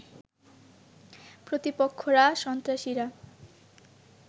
প্রতিপক্ষরা সন্ত্রাসীরা